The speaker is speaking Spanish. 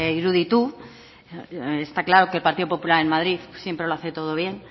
iruditu está claro que el partido popular en madrid siempre lo hace todo bien